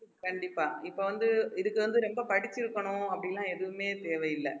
கண்டிப்பா இப்ப வந்து இதுக்கு வந்து ரொம்ப படிச்சிருக்கணும் அப்படி எல்லாம் எதுவுமே தேவையில்ல